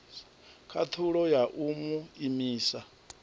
khathulo ya u mu imisa